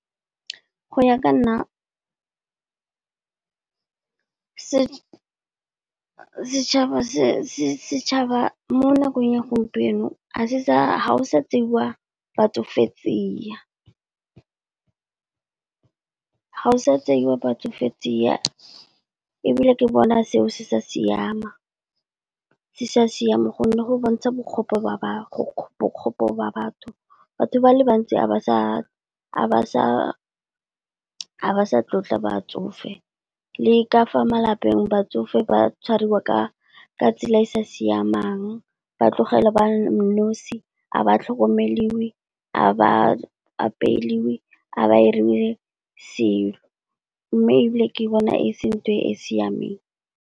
Go ya ka nna. Setšhaba mo nakong ya gompieno ga go sa tseiwa batsofe tsia, ebile ke bona seo se sa siama, gonne go bontsha bokgopo ba ba batho, batho ba le bantsi a ba sa tlotla batsofe. Le ka fa malapeng batsofe ba tshwariwa ka tsela e e sa siamang, ba tlogelwa ba nosi. A ba tlhokomeliwe, a ba apelwe, a ba irelwe mme ebile ke bona e se ntho e siameng.